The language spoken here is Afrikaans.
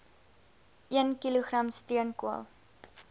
een kilogram steenkool